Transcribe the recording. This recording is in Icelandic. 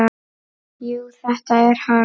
Jú, þetta er hann.